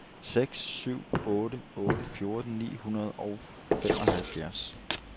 nul syv otte otte fjorten ni hundrede og femoghalvfjerds